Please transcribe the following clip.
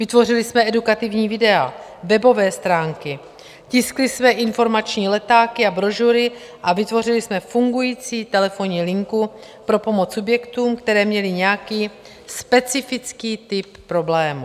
Vytvořili jsme edukativní videa, webové stránky, tiskli jsme informační letáky a brožury a vytvořili jsme fungující telefonní linku pro pomoc subjektům, které měly nějaký specifický typ problému.